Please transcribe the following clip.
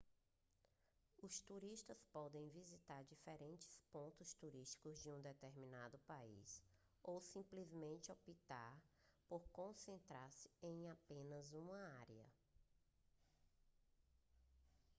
os turistas podem visitar diferentes pontos turísticos de um determinado país ou simplesmente optar por concentrar-se em apenas uma área